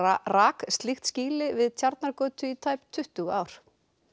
rak slíkt skýli við Tjarnargötu í tæp tuttugu ár